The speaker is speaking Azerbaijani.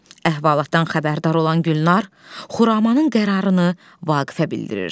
Əhvalatdan xəbərdar olan Gülnar Xuramanın qərarını Vaqifə bildirir.